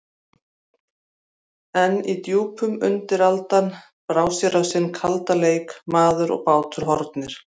En í djúpunum undiraldan, brá á sinn kalda leik: Maður og bátur horfnir.